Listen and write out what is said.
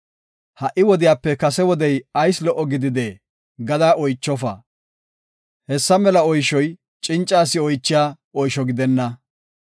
“Ha77i wodiyape kase wodey ayis lo77o gididee?” gada oychofa; hessa mela oyshoy cinca asi oychiya oysho gidenna.